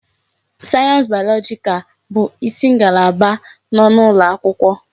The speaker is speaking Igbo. Sayensị bayọlọjikal bụ isi ngalaba n'ụlọ akwụkwọ.